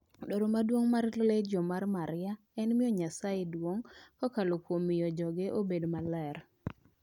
Dwaro maduong' mar Legion mar Mariam en miyo Nyasaye duong' kokalo kuom miyo joge obed maler.